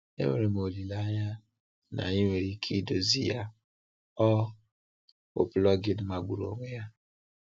Enwere m olileanya na ị nwere ike idozi ya, ọ bụ plugin magburu onwe ya!